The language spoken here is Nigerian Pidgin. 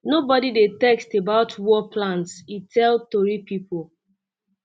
nobody dey text about war plans e um tell tori pipo